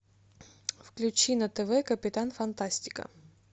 включи на тв капитан фантастика